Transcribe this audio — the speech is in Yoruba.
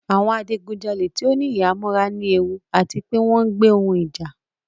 Awọn adigunjale ti o ni ihamọra ni ewu ati pe wọn ń gbe ohun ija